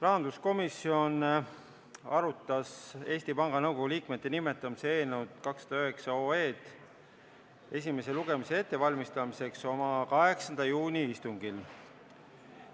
Rahanduskomisjon arutas Eesti Panga Nõukogu liikmete nimetamise otsuse eelnõu 209 selle esimese lugemise ettevalmistamiseks oma 8. juuni istungil.